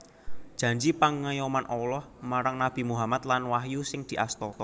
Janji pangayoman Allah marang Nabi Muhammad lan wahyu sing diasta